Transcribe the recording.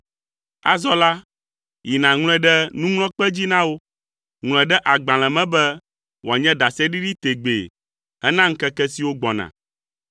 Azɔ la, yi nàŋlɔe ɖe nuŋlɔkpe dzi na wo, ŋlɔe ɖe agbalẽ me be wòanye ɖaseɖiɖi tegbee hena ŋkeke siwo gbɔna.